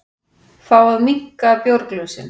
Fá að minnka bjórglösin